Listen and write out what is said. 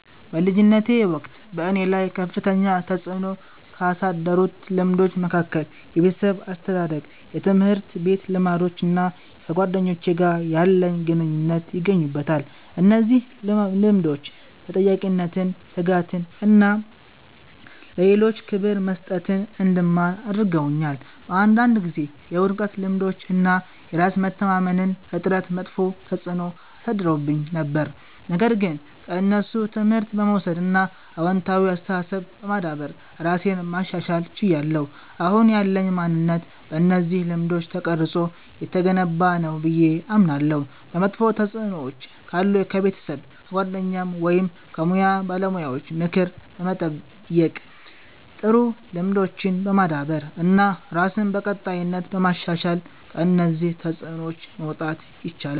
በልጅነቴ ወቅት በእኔ ላይ ከፍተኛ ተጽዕኖ ካሳደሩት ልምዶች መካከል የቤተሰብ አስተዳደግ፣ የትምህርት ቤት ልምዶች እና ከጓደኞቼ ጋር ያለኝ ግንኙነት ይገኙበታል። እነዚህ ልምዶች ተጠያቂነትን፣ ትጋትን እና ለሌሎች ክብር መስጠትን እንድማር አድርገውኛል። በአንዳንድ ጊዜ የውድቀት ልምዶች እና የራስ መተማመን እጥረት መጥፎ ተጽዕኖ አሳድረውብኝ ነበር፣ ነገር ግን ከእነሱ ትምህርት በመውሰድ እና አዎንታዊ አስተሳሰብ በማዳበር ራሴን ማሻሻል ችያለሁ። አሁን ያለኝ ማንነት በእነዚህ ልምዶች ተቀርጾ የተገነባ ነው ብዬ አምናለሁ። መጥፎ ተጽዕኖዎች ካሉ ከቤተሰብ፣ ከጓደኞች ወይም ከሙያ ባለሙያዎች ምክር በመጠየቅ፣ ጥሩ ልምዶችን በማዳበር እና ራስን በቀጣይነት በማሻሻል ከእነዚህ ተጽዕኖዎች መውጣት ይቻላል።